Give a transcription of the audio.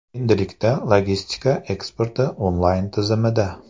Endilikda logistika eksporti onlayn tizimida.